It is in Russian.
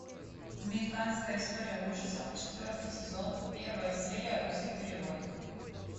американская история ужасов четвертый сезон первая серия русский перевод